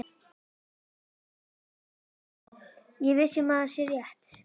Sé viss um að það sé rétt.